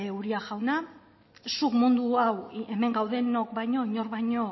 uria jauna zuk mundu hau hemen gaudenok baino inork baino